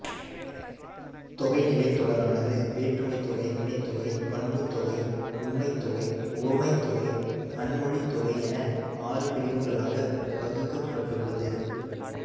தொகைநிலைத் தொடரானது வேற்றுமைத்தொகை வினைத்தொகை பண்புத்தொகை உம்மைத்தொகை உவமைத்தொகை அன்மொழித்தொகை என ஆறு பிரிவுகளாகப் பகுக்கப்பட்டுள்ளது